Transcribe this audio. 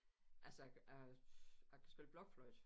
Altså jeg jeg kan spille blokfløjte